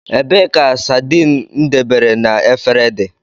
Ebee ka sardine m debere na efere dị?